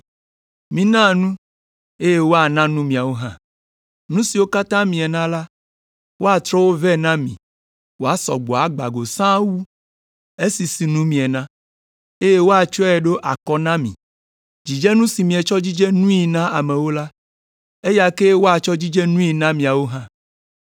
Mina nu, eye woana nu miawo hã. Nu siwo katã miena la, woatrɔ wo vɛ na mi woasɔ gbɔ agbã go sãa wu esi sinu miena, eye woatsɔe aɖo akɔ na mi. Dzidzenu si mietsɔ dzidze nui na amewo la, eya kee woatsɔ dzidze nui na miawo hã.”